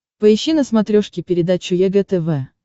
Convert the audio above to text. поищи на смотрешке передачу егэ тв